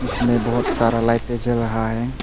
इसमें बहोत सारा लाइटें जल रहा है।